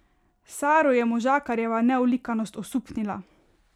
Saro je možakarjeva neolikanost osupnila.